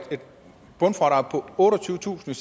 bundfradrag på otteogtyvetusind